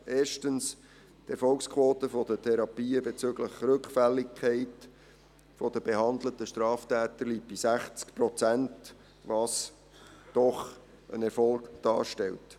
Erstens: Die Erfolgsquote der Therapien bezüglich Rückfälligkeit der behandelten Straftäter liegt bei 60 Prozent, was doch einen Erfolg darstellt.